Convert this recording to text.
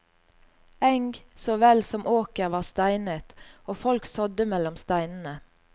Eng såvel som åker var steinet og folk sådde mellom steinene.